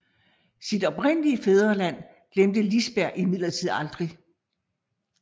Sit oprindelige fædreland glemte Liisberg imidlertid aldrig